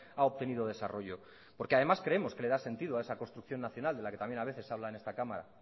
ha obtenido desarrollo porque además creemos que le da sentido a esa construcción nacional de la que también a veces habla en esta cámara